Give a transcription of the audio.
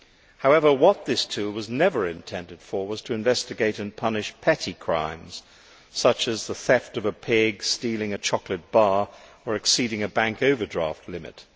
However, what this tool was never intended for was to investigate and punish petty crimes such as the theft of a pig, stealing a chocolate bar or exceeding a bank overdraft limit.